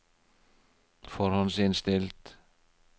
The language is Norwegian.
forhåndsinnstilt